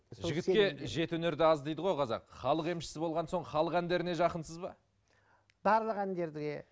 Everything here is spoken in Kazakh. жігітке жеті өнер де аз дейді ғой қазақ халық емішісі болған соң халық әндеріне жақынсыз ба барлық әндерге